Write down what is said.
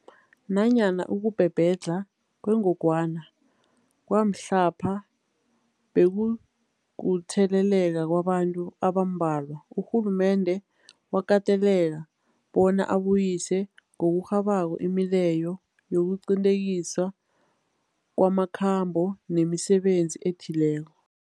Nanyana ukubhebhedlha kwengogwana kwamhlapha bekukutheleleka kwabantu abambalwa, urhulumende wakateleleka bona abuyise ngokurhabako imileyo yokuqinteliswa kwamakhambo nemisebenzi ethileko.